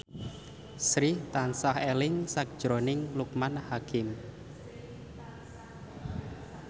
Sri tansah eling sakjroning Loekman Hakim